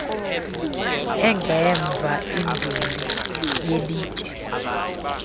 engemva induli yelitye